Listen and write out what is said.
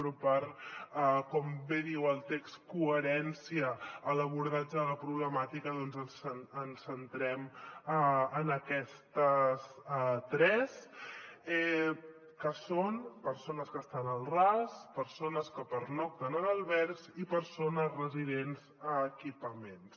però per com bé diu el text coherència en l’abordatge de la problemàtica doncs ens centrem en aquestes tres que són persones que estan al ras persones que pernocten en albergs i persones residents en equipaments